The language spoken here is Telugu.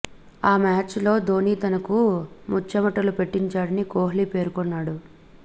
ఆ మ్యాచ్ లో ధోని తనకు ముచ్చెమటలు పట్టించాడని కోహ్లీ పేర్కొన్నాడు